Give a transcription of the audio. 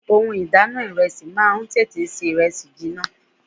Ohun ìdáná ìrẹsì máa ń tètè ṣe ìrẹsì jiná.